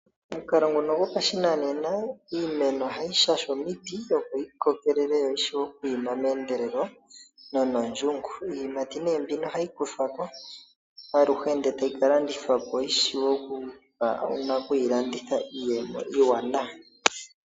Omukalo nguno gopashinanena iimeno oha yi shashwa omiti opo yi kokelele yo yishiwe okwiima meendelelo no nondjungu yimwe oha yi ayihe ka landithwapo yi wape okupa nakwiilanditha iiyemo iiwanawa.